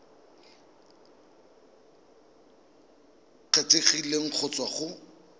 e kgethegileng go tswa go